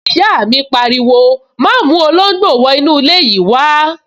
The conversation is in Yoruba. Ìyá mi pariwo, 'má mú olóngbò wọ inú ilé yìí wá